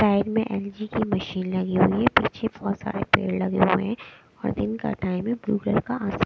time में LG की machine लगी हुई है पीछे बहुत सारे पेड़ लगे हुए हैं और दिन का टाइम है --